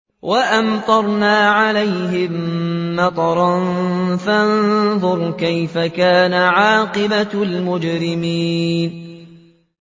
وَأَمْطَرْنَا عَلَيْهِم مَّطَرًا ۖ فَانظُرْ كَيْفَ كَانَ عَاقِبَةُ الْمُجْرِمِينَ